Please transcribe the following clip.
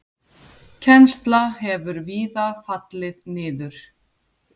Kennsla hefur víða fallið niður.